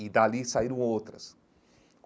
E dali saíram outras.